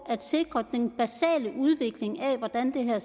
at sikre den basale udvikling af hvordan det her